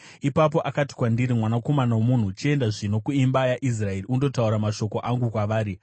Ipapo akati kwandiri, “Mwanakomana womunhu, chienda zvino kuimba yaIsraeri undotaura mashoko angu kwavari.